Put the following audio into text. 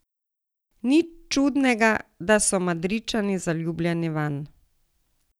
Nič čudnega, da so Madridčani zaljubljeni vanj.